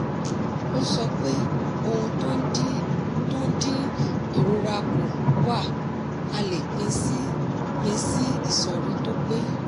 ó sọ pé ohun tó dín ìrora kù wà a le pin sí pin sí ìsọ̀ri tó pé.